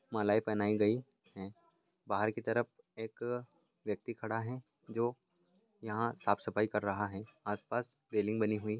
मालाएँ पहनाई गई हैं। बाहर की तरफ एक व्यक्ति खड़ा है जो यहाँ साफ़ सफाई कर रहा है। आस पास रेलिंग बनी हुई --